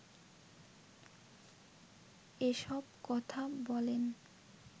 এসব কথা বলেন